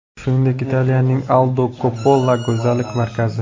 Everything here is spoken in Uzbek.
Shuningdek Italiyaning Aldo Coppola go‘zallik markazi.